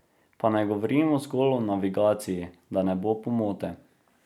Pa ne govorimo zgolj o navigaciji, da ne bo pomote.